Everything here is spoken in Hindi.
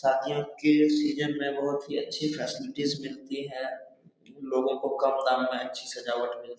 शादियों की सीजन में बहुत अच्छी फैसेलिटीज मिलती है लोगों को कम दाम में अच्छी सजावट मिलती हैं।